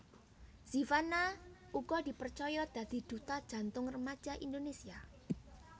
Zivanna uga dipercaya dadi duta Jantung Remaja Indonésia